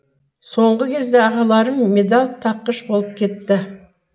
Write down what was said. соңғы кезде ағаларым медал таққыш болып кетті